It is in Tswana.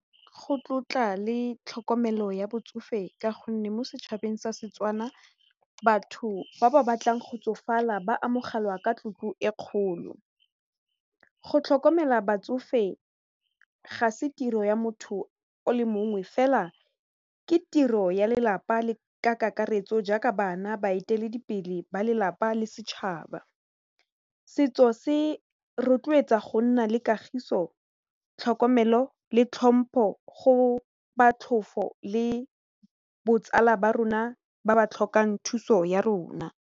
Go tlotla le tlhokomelo ya botsofe ka gonne mo setšhabeng sa Setswana batho ba ba batlang go tsofala ba amogelwa ka tlotlo e kgolo, go tlhokomela batsofe ga se tiro ya motho o le mongwe fela ke tiro ya lelapa ka kakaretso jaaka bana baeteledipele, balelapa le setšhaba setso se rotloetsa go nna le kagiso, tlhokomelo le tlhompho go le botsala ba rona ba ba tlhokang thuso ya rona.